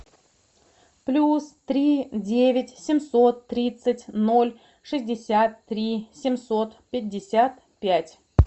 плюс три девять семьсот тридцать ноль шестьдесят три семьсот пятьдесят пять